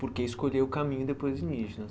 Porque escolheu o caminho